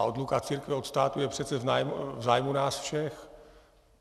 A odluka církve od státu je přece v zájmu nás všech.